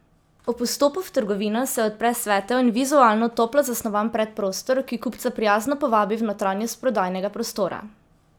Ob vstopu v trgovino se odpre svetel in vizualno toplo zasnovan predprostor, ki kupca prijazno povabi v notranjost prodajnega prostora.